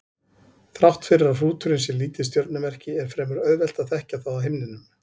Þrátt fyrir að hrúturinn sé lítið stjörnumerki er fremur auðvelt að þekkja það á himninum.